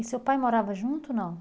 E seu pai morava junto ou não?